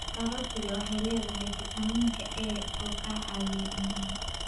Karootiga waxay leedahay fiitamiinka A oo ka caawiya indhaha.